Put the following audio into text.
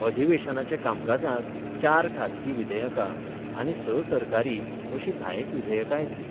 अधिवेशनाचे कामकाजांत चार खासगी विधेयकां आनी स सरकारी अशीं धायेक विधेयकां येतलीं.